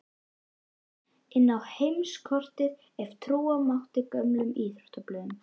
Finnland inn á heimskortið ef trúa mátti gömlum íþróttablöðum.